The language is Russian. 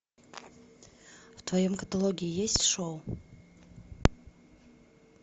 в твоем каталоге есть шоу